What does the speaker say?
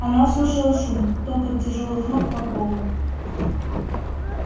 она услышала шум топот тяжёлых ног по полу